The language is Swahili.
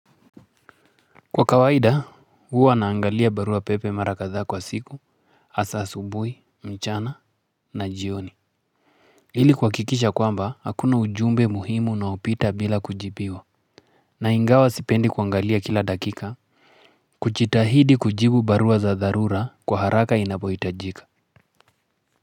Kwa kawaida huwa naangalia barua pepe mara kadhaa kwa siku hasaa asubuhi mchana na jioni. Ili kuhakikisha ya kwamba hakuna ujumbe muhimu unaopita bila kujibiwa. Na ingawa sipendi kuangalia kila dakika kujitahidi kujibu barua za dharura kwa haraka inapohitajika.